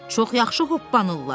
Çox yaxşı hoppanırlar.